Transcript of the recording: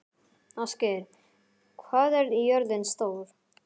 Ástgeir, hvað er jörðin stór?